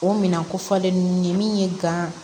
O minan ko fɔlen ninnu ye min ye gan